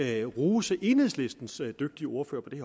at rose enhedslistens dygtige ordfører på det